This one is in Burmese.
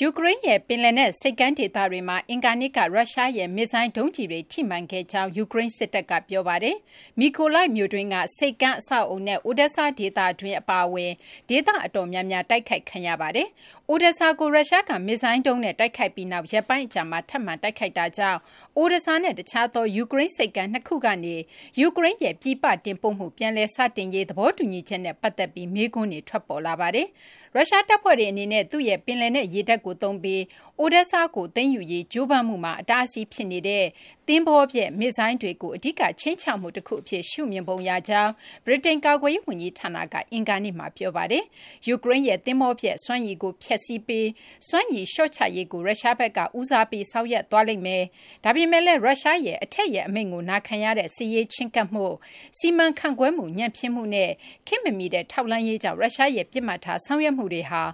ယူကရိန်းရဲ့ ပင်လယ်နက် ဆိပ်ကမ်း ဒေသတွေမှာ အင်္ဂါနေ့က ရုရှားရဲ့ မစ်ဇိုင်း ဒုံးကျည်တွေ ထိမှန်ခဲ့ကြောင်း ယူကရိန်း စစ်တပ်က ပြောဆိုပါတယ်။ Mykolaiv မြို့တွင်းက ဆိပ်ကမ်း အဆောက်အအုံနဲ့ Odesa ဒေသတွင်း အပါအဝင် ဒေသ အတော်များများ တိုက်ခိုက်ခံခဲ့ရပါတယ်။ Odesa ကို ရုရှားက မစ်ဇိုင်း ဒုံးနဲ့ တိုက်ခိုက်ပြီးနောက် ရက်ပိုင်း အကြာမှာ ထပ်မံ တိုက်ခိုက်မှုတွေကြောင့် Odesa နဲ့ တခြားသော ယူကရိန်း ဆိပ်ကမ်း ၂ ခုကနေ ယူကရိန်းရဲ့ ပြည်ပ တင်ပို့မှု ပြန်လည် စတင်ရေး သဘောတူညီချက်နဲ့ ပတ်သက်ပြီး မေးခွန်းတွေ ထွက်ပေါ်လာပါတယ်။ ရုရှားတပ်ဖွဲ့တွေ အနေနဲ့ သူ့ရဲ့ ပင်လယ်နက် ရေတပ်ကို သုံးပြီး Odesa ကို သိမ်းယူရေး ကြိုးပမ်းမှုမှာ အတားအဆီး ဖြစ်နေတဲ့ သဘောၤဖျက် မစ်ဇိုင်းတွေကို အဓိက ခြိမ်းခြောက်မှု တခု အဖြစ် ရှုမြင်ပုံ ရကြောင်း ဗြိတိန် ကာကွယ်ရေး ဝန်ကြီးဌာနက အင်္ဂါနေ့မှာ ပြောပါတယ်။ ယူကရိန်းရဲ့ သဘောၤဖျက် စွမ်းရည်ကို ဖျက်စီးပြီး စွမ်းရည် လျှော့ချရေးကို ရုရှားဘက်က ဦးစားပေး ဆောင်ရွက်သွားလိမ့်မယ်။ ဒါပေမဲ့လည်း ရုရှားရဲ့ အထက်ရဲ့ အမိန့်ကို နာခံရတဲ့ စစ်ရေး ချဉ်းကပ်မှု၊ စီမံခန့်ခွဲမှု ညံ့ဖျင်းမှုနဲ့ ခေတ်မမီတဲ့ ထောက်လှမ်းရေးကြောင့် ရုရှားရဲ့ ပစ်မှတ်ထား ဆောင်ရွက်မှုတွေဟာ